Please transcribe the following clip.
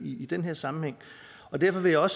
i den her sammenhæng og derfor vil jeg